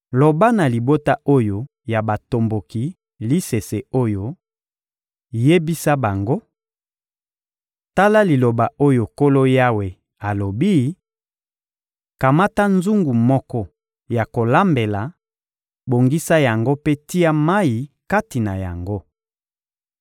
Loba na libota oyo ya batomboki lisese oyo; yebisa bango: ‹Tala liloba oyo Nkolo Yawe alobi: Kamata nzungu moko ya kolambela, bongisa yango mpe tia mayi kati na yango.